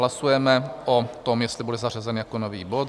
Hlasujeme o tom, jestli bude zařazen jako nový bod.